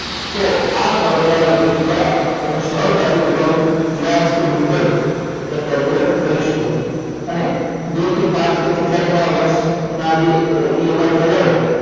તો આ formula નો ઉપયોગ દ્વારા તમે સરળતાથી તમારું વ્યાજ કે મુદ્દલ એ calculate કરી શકો છો અને બે કે પાંચ કે જેટલા તમારા વર્ષના EMI થયેલા હોય